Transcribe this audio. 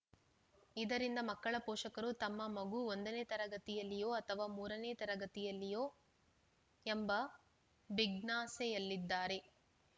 ಇದರಿಂದ ಮಕ್ಕಳ ಪೋಷಕರು ತಮ್ಮ ಮಗು ಒಂದನೇ ತರಗತಿಯಲ್ಲಿಯೋ ಅಥವಾ ಎರಡು ಮೂರನೇ ತರಗತಿಯಲ್ಲಿಯೋ ಎಂಬ ಬಿಜ್ಞಾಸೆಯಲ್ಲಿದ್ದಾರೆ